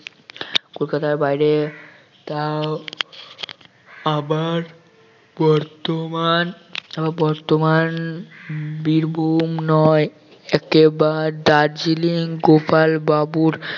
কলকাতার বাহিরে তাও আবার বর্তমান বর্তমান বীরভূম নয় একেবারে দার্জিলিং গোপাল বাবুর